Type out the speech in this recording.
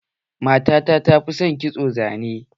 Matata ta fi son kitson zane.